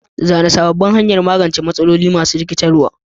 Zana sabbin hanyoyin magance matsaloli masu rikitarwa.